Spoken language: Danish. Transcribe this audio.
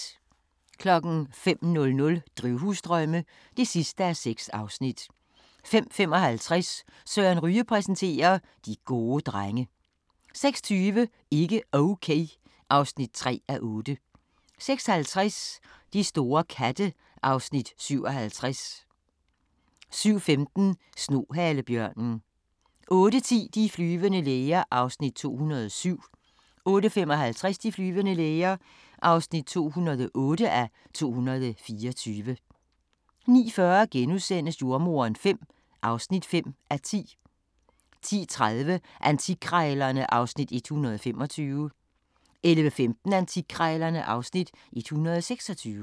05:00: Drivhusdrømme (6:6) 05:55: Søren Ryge præsenterer: De gode drenge 06:20: Ikke Okay (3:8) 06:50: De store katte (Afs. 57) 07:15: Snohalebjørnen 08:10: De flyvende læger (207:224) 08:55: De flyvende læger (208:224) 09:40: Jordemoderen V (5:10)* 10:30: Antikkrejlerne (Afs. 125) 11:15: Antikkrejlerne (Afs. 126)